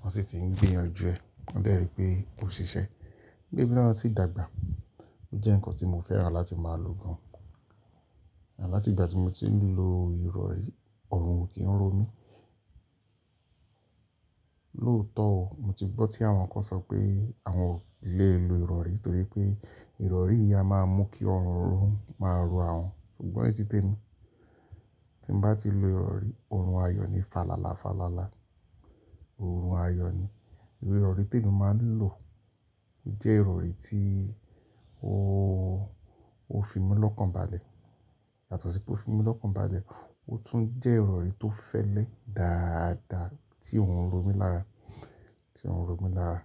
wọ́n sì ti ń gbìyànjú ẹ. Wọ́n dẹ́ri pé kó ṣiṣẹ́. Nígbà èmi sì dàgbà. Ó jẹ́ nǹkan tí mo fẹ́ràn láti máa lò gan-an. Àmo láti ìgbà tí mo ti ń lo ìrọ̀rí, ọ̀run ò kí ń ro mí. Lóòótọ́ ó, mo ti gbọ́ tí àwọn kan ṣọ pé àwọn ò lè lo ìrọ̀rí nítorí pé ìrọ̀rí yìí a máa mú kí ọ̀run máa rọ àwọn, ṣùgbọ́n ní ti t'emi, tí n bá ti lo ìrọ̀rí, ọ̀run ayọ̀ ni. Falala falala, ọ̀run ayọ̀ ni. Ìrọ̀rí tí èmi máa ń lò kò jẹ́ ìrọ̀rí tí ó, ó fi mi lọ́kàn bá le. Yàtọ̀ sí pé ó fi mi lọ́kàn bá le, ó tún jẹ́ ìrọ̀rí tó fẹ́lẹ́ dáadáa tí ò ń ro mí lára, tí ò ń ro mí lára.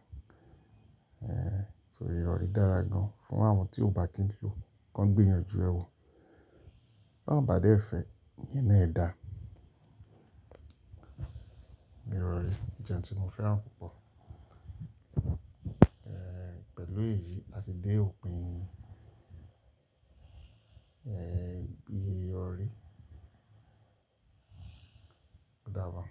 Eh, so ìrọ̀rí dára gan-an fún àwọn tí ó bá kí ń lò, kan gbìyànjú ẹ wò. Bí wọ́n bá dé fẹ́, ìyẹn náà dà. Ìrọ̀rí jẹ́ ohun tí mo fẹ́ràn púpọ̀. Eh, pẹ̀lú èyí, a ti dé òpin, eh, ìyè ìrọ̀rí. Ó dábo.